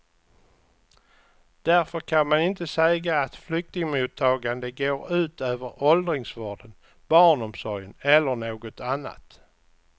Därför kan man inte säga att flyktingmottagande går ut över åldringsvården, barnomsorgen eller något annat.